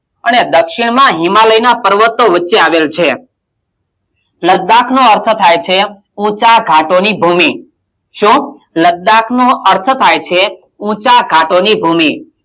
અને દક્ષિણમાં હિમાલયનાં પર્વતો વચ્ચે આવેલ છે લદ્દાકનો અર્થ થાય છે ઊંચા ઘાટોની ભૂમિ, શું? લદ્દાક નો અર્થ થાય છે ઊંચા ઘાટોની ભૂમિ,